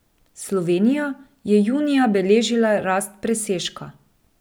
Slovenija je junija beležila rast presežka.